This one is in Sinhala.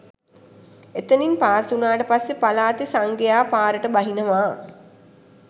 එතනින් පාස් වුණාට පස්සේ පළාතෙ සංඝයා පාරට බහිනවා